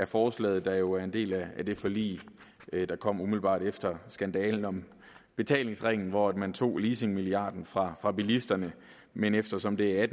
forslaget der jo er en del af det forlig der kom umiddelbart efter skandalen om betalingsringen hvor man tog leasingmilliarden fra fra bilisterne men eftersom det er